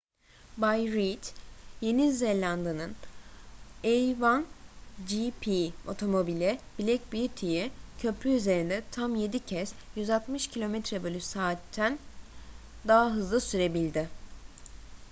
bay reid yeni zelanda'nın a1gp otomobili black beauty'i köprü üzerinde tam yedi kez 160 km/s'ten daha hızlı sürebildi